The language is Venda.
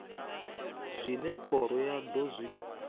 zwine khoro ya do zwi